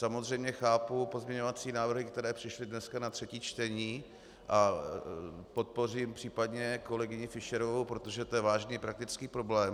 Samozřejmě chápu pozměňovací návrhy, které přišly dneska na třetí čtení, a podpořím případně kolegyni Fischerovou, protože to je vážný faktický problém.